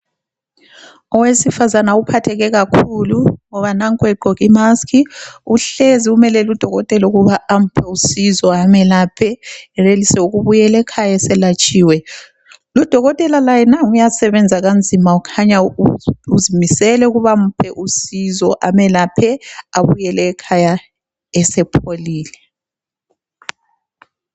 Owesifazana uphatheke kakhulu ngoba nanku egqoke imaski, uhlezi umelele udokotela ukuba amuphe usizo amuyelaphe eyenelise ukubuyela ekhaya eselatshiwe. Udokotela laye nangu uyasebenzisa kanzima kukhanya uzimisele ukuba amuphe usizo amuyelaphe abuyele ekhaya esepholile.